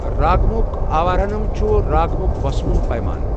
راگمُک آوارہنم چھِ راگمُک وسوُن پیمانہ۔